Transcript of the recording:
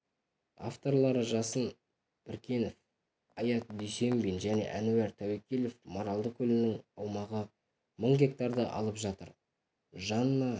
авторлары жасын біркенов аят дүйсембин және әнуар тәуекелов маралды көлінің аумағы мың гектарды алып жатыр жанна